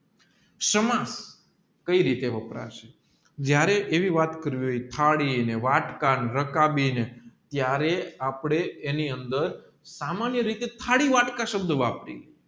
કઈ રીતે વપરા સે જયારે એવી વાત કરવી હોય થાળી ને વાતક ને રકાબીને ત્યારે આપણે એની અંદર સામાન્ય રીતે થાળી વાત શબ્દ વાપરીએ